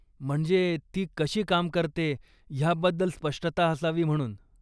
म्हणजे ती कशी काम करते ह्याबद्दल स्पष्टता असावी म्हणून.